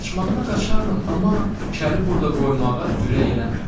Qaçmağına qaşardım, amma kəli burda qoymağa ürək eləmirəm.